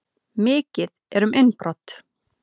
Mikið um innbrot